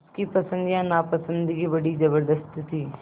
उसकी पसंद या नापसंदगी बड़ी ज़बरदस्त थी